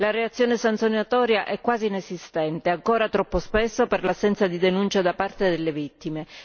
La reazione sanzionatoria è quasi inesistente, ancora troppo spesso per l'assenza di denuncia da parte delle vittime.